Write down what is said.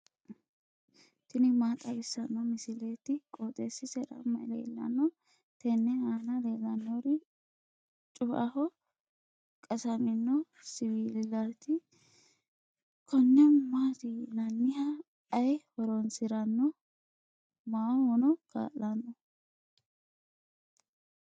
tini maa xawissanno misileeti? qooxeessisera may leellanno? tenne aana leellannori cu"aho qasamino siwiilaati. konne maati yinanni? ayi horoonsiranno? maahono kaa'lanno?